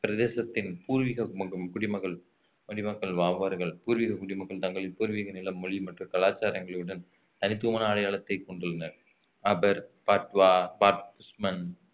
பிரதேசத்தின் பூர்வீக மக்~ குடிமகள் குடிமக்கள் வா~ வார்கள் பூர்வீக குடிமக்கள் தங்களின் பூர்வீக நிலம், மொழி மற்றும் கலாச்சாரங்களுடன் தனித்துவமான அடையாளத்தை கொண்டுள்ளனர் அபர் பாட்வா